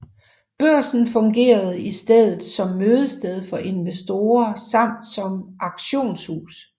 Børsen fungerede i stedet som mødested for investorer samt som auktionshus